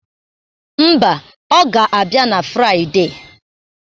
Mba, ọ ga-abịa na Friade.